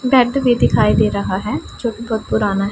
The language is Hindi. बेड भी दिखाई दे रहा है जो कि बहोत पुराना है।